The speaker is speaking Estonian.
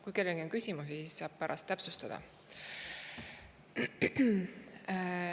Kui kellelgi on küsimusi, siis saab pärast täpsustada.